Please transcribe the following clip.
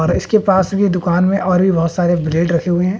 और इसके पास भी दुकान में और भी बहुत सारे ब्रेड रखे हुए हैं।